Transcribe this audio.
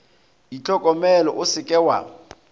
itlhokomele o se ke wa